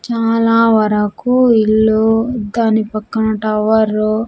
చాలా వరకు ఇల్లు దాని పక్కన టవరు .